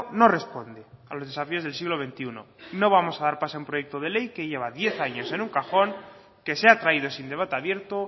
no responde a los desafíos del siglo veintiuno no vamos a dar paso a un proyecto de ley que lleva diez años en un cajón que se ha traído sin debate abierto